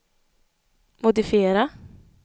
modifiera